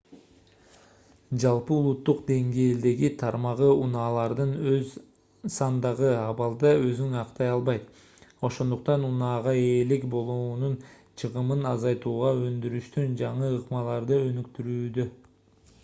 жалпы улуттук деңгээлдеги тармагы унаалардын аз сандагы абалда өзүн актай албайт ошондуктан унаага ээлик болуунун чыгымын азайтууга өндүрүштүн жаңы ыкмаларды өнүктүрүүдө